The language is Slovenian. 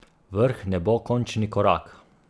Vrh ne bo končni korak.